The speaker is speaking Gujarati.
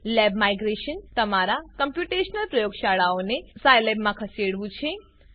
લેબ માઇગ્રેશન જે તમામ કોમ્પ્યુટેશનલ પ્રયોગશાળાઓને સાયલેબમાં ખસેડવું છે